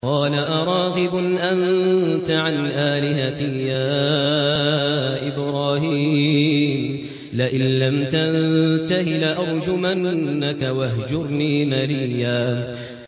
قَالَ أَرَاغِبٌ أَنتَ عَنْ آلِهَتِي يَا إِبْرَاهِيمُ ۖ لَئِن لَّمْ تَنتَهِ لَأَرْجُمَنَّكَ ۖ وَاهْجُرْنِي مَلِيًّا